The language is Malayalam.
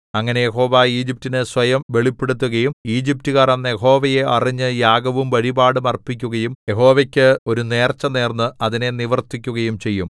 അങ്ങനെ യഹോവ ഈജിപ്റ്റിനു സ്വയം വെളിപ്പെടുത്തുകയും ഈജിപ്റ്റുക്കാർ അന്ന് യഹോവയെ അറിഞ്ഞ് യാഗവും വഴിപാടും അർപ്പിക്കുകയും യഹോവയ്ക്ക് ഒരു നേർച്ചനേർന്ന് അതിനെ നിവർത്തിക്കുകയും ചെയ്യും